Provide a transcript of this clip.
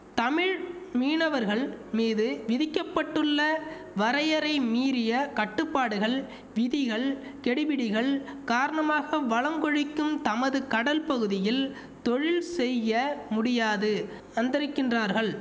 தமிழ் மீனவர்கள் மீது விதிக்க பட்டுள்ள வரையறை மீறிய கட்டுப்பாடுகள் விதிகள் கெடிபிடிகள் காரணமாக வளம் கொழிக்கும் தமது கடல் பகுதியில் தொழில் செய்ய முடியாது அந்தரிக்கின்றார்கள்